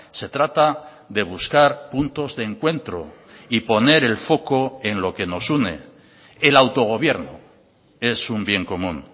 se trata de buscar puntos de encuentro y poner el foco en lo que nos une el autogobierno es un bien común